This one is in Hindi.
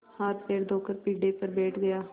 हाथपैर धोकर पीढ़े पर बैठ गया